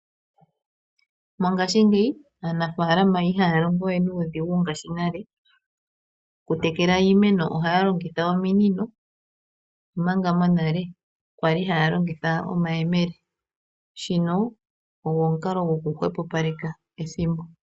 Mongaashingeyi aanafalama ihaa longo we nuudhigu ngashi nale mokutekela iimeno, ohaa longitha oominino, omanga monale aantu ya li haa longitha omayemele. Okulongitha omunino ohashi hwepopaleke ethimbo.